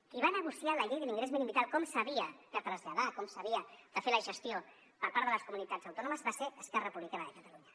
qui va negociar la llei de l’ingrés mínim vital com s’havia de traslladar com s’havia de fer la gestió per part de les comunitats autònomes va ser esquerra republicana de catalunya